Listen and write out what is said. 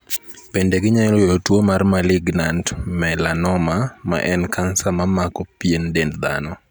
Bende ginyalo yudo tu mar malignant melanoma ma en cancer ma mamako pien dend dhano.